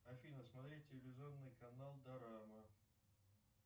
афина смотреть телевизионный канал дорама